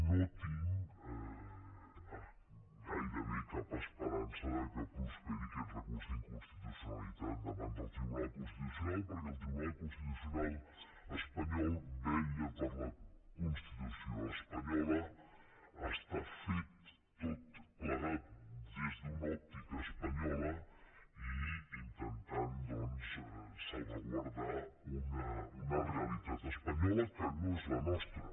no tinc gairebé cap esperança que prosperi aquest recurs d’inconstitucionalitat davant del tribunal constitucional perquè el tribunal constitucional espanyol vetlla per la constitució espanyola està fet tot plegat des d’una òptica espanyola i intentant doncs salvaguardar una realitat espanyola que no és la nostra